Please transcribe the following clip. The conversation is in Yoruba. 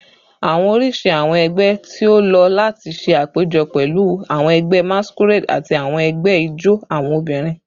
Awọn oriṣi awọn ẹgbẹ ti o lo lati ṣe apejọ pẹlu awọn ẹgbẹ masquerade ati awọn ẹgbẹ ijó awọn obinrin